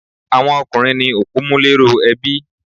Àwọn ọkùnrín ní opòmúléró ebi